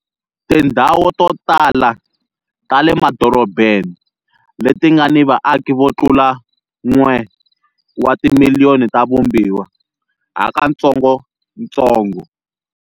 Tindhawu to tala ta le madorobeni leti nga ni vaaki vo tlula 1 wa timiliyoni ta vumbiwa hakatsongotsongo.